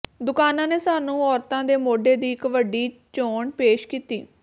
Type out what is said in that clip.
ਦੁਕਾਨਾਂ ਨੇ ਸਾਨੂੰ ਔਰਤਾਂ ਦੇ ਮੋਢੇ ਦੀ ਇੱਕ ਵੱਡੀ ਚੋਣ ਪੇਸ਼ ਕੀਤੀ